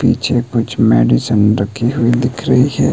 पीछे कुछ मेडिसीन रखी हुई दिख रही है।